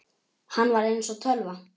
Hann var eins og tölva.